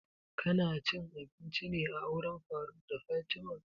Ka na cin abinci ne a auren faruk da fatima?